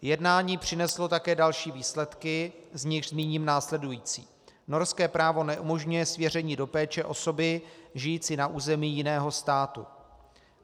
Jednání přineslo také další výsledky, z nichž zmíním následující: Norské právo neumožňuje svěření do péče osoby žijící na území jiného státu.